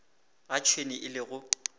ga tšhwene e le go